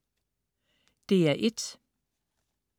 DR1: